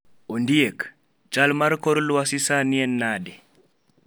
Ondiek, chal mar kor lwasi sani en nade?